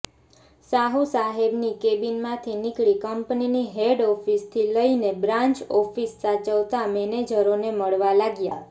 સાહુસાહેબની કૅબિનમાંથી નીકળી કંપનીની હેડ ઑફિસથી લઈને બ્રાન્ચ ઑફિસ સાચવતા મૅનેજરોને મળવા લાગ્યા